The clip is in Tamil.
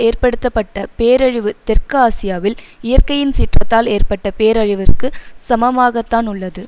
ஏற்படுத்தப்பட்ட பேரழிவு தெற்கு ஆசியாவில் இயற்கையின் சீற்றத்தால் ஏற்பட்ட பேரழிவிற்கு சமமாகத்தான் உள்ளது